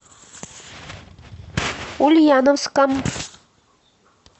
ульяновском